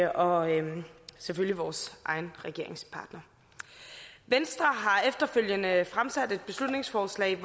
og selvfølgelig vores egen regeringspartner venstre har efterfølgende fremsat et beslutningsforslag